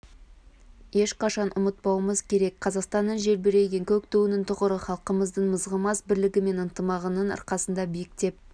ешқашан ұмытпауымыз керек қазақстанның желбіреген көк туының тұғыры халқымыздың мызғымас бірлігі мен ынтымағының арқасында биіктеп